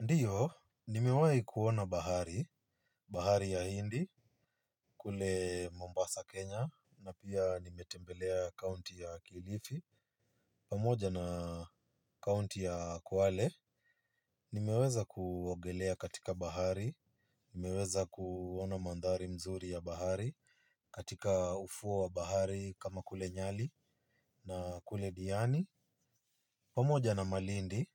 Ndiyo, nimewahi kuona bahari, bahari ya hindi, kule Mombasa, Kenya, na pia nimetembelea county ya kilifi, pamoja na county ya kwale, nimeweza kuogelea katika bahari, nimeweza kuona mandhari mzuri ya bahari, katika ufuo wa bahari kama kule nyali na kule diani, pamoja na malindi,